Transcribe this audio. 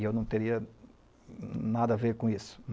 E eu não teria nada a ver com isso.